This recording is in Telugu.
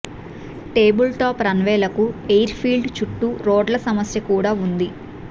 టేబుల్ టాప్ రన్వేలకు ఎయిర్ఫీల్డ్ చుట్టూ రోడ్ల సమస్య కూడా ఉంది